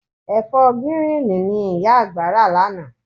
Ẹ̀fọ́ gíríìnì ni ìyá àgbà rà lánàá.